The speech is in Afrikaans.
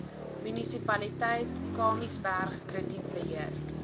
munisipaliteit kamiesberg kredietbeheer